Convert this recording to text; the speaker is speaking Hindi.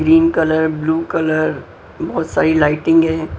ग्रीन कलर ब्लू कलर बहुत सारी लाइटिंग हैं।